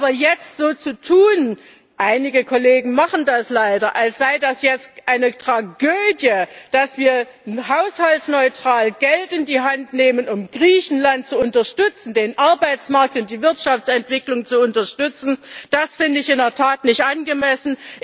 Aber jetzt so zu tun einige Kollegen machen das leider als sei das jetzt eine Tragödie, dass wir haushaltsneutral Geld in die Hand nehmen, um Griechenland zu unterstützen, den Arbeitsmarkt und die Wirtschaftsentwicklung zu unterstützen, das finde ich in der Tat nicht angemessen.